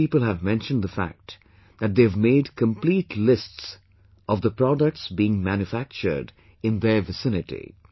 Many people have mentioned the fact that they have made complete lists of the products being manufactured in their vicinity